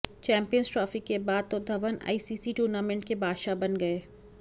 champions trophy के बाद तो धवन आईसीसी टूर्नामेंट के बादशाह बन गए